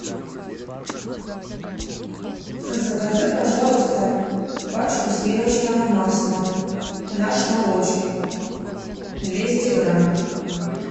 закажи пожалуйста пачку сливочного масла наш молочник двести грамм